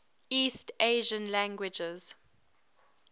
east asian languages